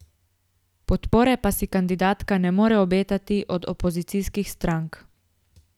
Podpore pa si kandidatka ne more obetati od opozicijskih strank.